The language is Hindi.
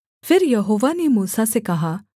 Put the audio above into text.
फिर यहोवा ने मूसा से कहा